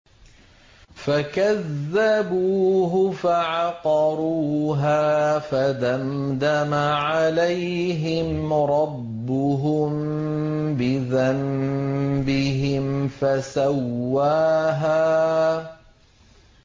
فَكَذَّبُوهُ فَعَقَرُوهَا فَدَمْدَمَ عَلَيْهِمْ رَبُّهُم بِذَنبِهِمْ فَسَوَّاهَا